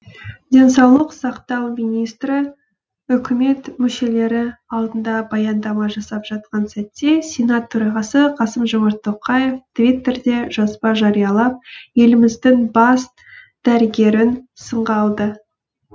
денсаулық сақтау министрі үкімет мүшелері алдында баяндама жасап жатқан сәтте сенат төрағасы қасым жомарт тоқаев твиттерде жазба жариялап еліміздің бас дәрігерін сынға алды